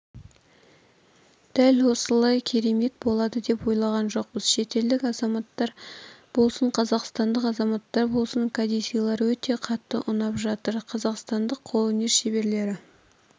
дәл осындай керемет болады деп ойлаған жоқпыз шетелдік азаматтар болсын қазақстандық азаматтар болсын кәдесыйлар өте қатты ұнап жатыр қазақстандық қолөнер шеберлері